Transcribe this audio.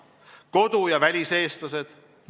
Kodu- ja väliseestlased.